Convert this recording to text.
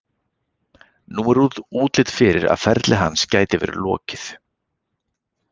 Nú er útlit fyrir að ferli hans gæti verið lokið.